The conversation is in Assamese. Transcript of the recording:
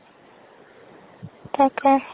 তাকেই